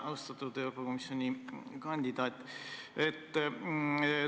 Austatud Euroopa Komisjoni liikme kandidaat!